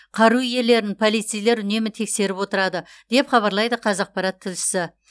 қару иелерін полицейлер үнемі тексеріп отырады деп хабарлайды қазақпарат тілшісі